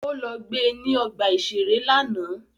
Ó lọ gbe ní ọgbà-ìṣeré lánàá